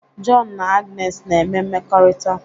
Jọn na Agnes na-eme mmekọrịta